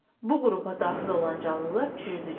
Bu qrupa daxil olan canlılar çürütücüdür.